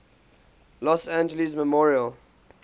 los angeles memorial